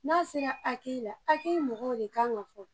N'a sera la mɔgɔw de kan ka fɔ